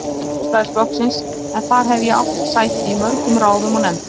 Sjálfstæðisflokksins en þar hef ég átt sæti í mörgum ráðum og nefndum.